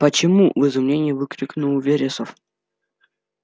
почему в изумлении выкрикнул вересов